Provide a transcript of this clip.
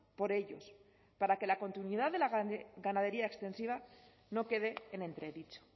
por ellos para que la continuidad de la ganadería extensiva no quede en entredicho